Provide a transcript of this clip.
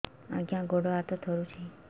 ଆଜ୍ଞା ଗୋଡ଼ ହାତ ଥରୁଛି